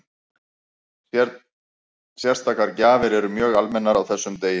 Sérstakar gjafir eru mjög almennar á þessum degi.